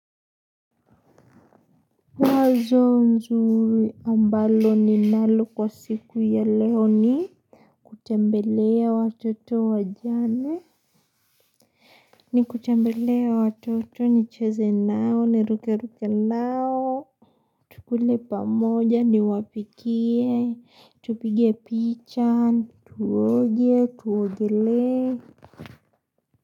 Wazo nzuri ambalo ninalo kwa siku ya leo ni kutembelea watoto wajane. Ni kutembelea watoto nicheze nao niruke ruke nao. Tukule pamoja niwapikie, tupige picha, tuwoge, tuwogele.